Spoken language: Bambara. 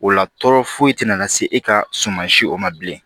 O la tɔɔrɔ foyi te na se e ka suma si o ma bilen